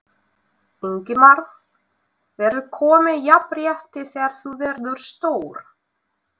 Ingimar: Verður komið jafnrétti þegar þú verður stór?